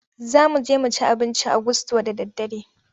Za mu je mu ci abinci a gusto da daddare.